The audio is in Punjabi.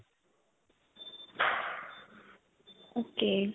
ok.